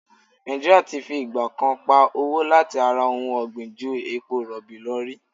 Nàìjí́ríà ti fi ìgbà kan pa owó láti ara ohun ọ̀gbìn ju epo rọ̀bì lọ rí.